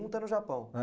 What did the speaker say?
Um está no Japão. Eh,